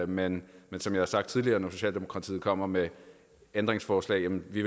men som jeg har sagt tidligere når socialdemokratiet kommer med ændringsforslag vil vi